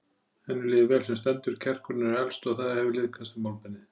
Henni líður vel sem stendur, kjarkurinn hefur eflst og það hefur liðkast um málbeinið.